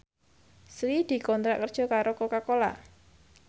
Sri dikontrak kerja karo Coca Cola